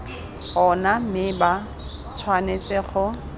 ona mme ba tshwanetse go